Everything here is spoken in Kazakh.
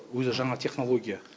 өзі жаңа технология